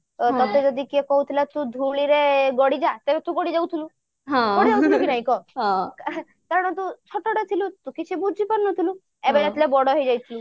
ତ ଟଟେ ଯଦି କିଏ କହୁଥିଲା ଧୂଳିରେ ଗଡିଯା ତେବେ ତୁ ଗଡି ଯାଉଥିଲୁ ଗଡି ଯାଉଥିଲୁ କି ନାହିଁ କହ କାରଣ ତୁ ଛୋଟଟେ ଥିଲୁ ତୁ କିଛି ବୁଝି ପାରୁ ନଥିଲୁ ଏବେ ଯେତେବେଳେ ବଡ ହେଇ ଯାଇଥିଲୁ